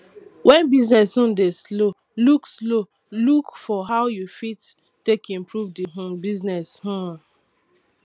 when business um dey slow look slow look for how you fit take improve di um business um